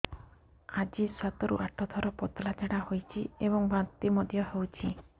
ଆଜି ସାତରୁ ଆଠ ଥର ପତଳା ଝାଡ଼ା ହୋଇଛି ଏବଂ ବାନ୍ତି ମଧ୍ୟ ହେଇଛି